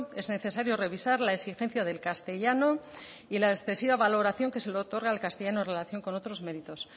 es necesario revisar la exigencia del castellano y la excesiva valoración que se le otorga al castellano en relación con otros méritos